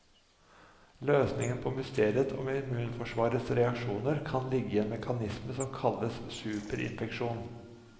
Løsningen på mysteriet om immunforsvarets reaksjoner kan ligge i en mekanisme som kalles superinfeksjon.